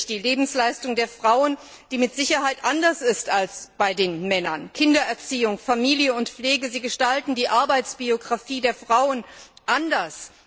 Das ist natürlich die Lebensleistung der Frauen, die mit Sicherheit anders ist als bei den Männern Kindererziehung, Familie und Pflege gestalten die Arbeitsbiographie der Frauen anders.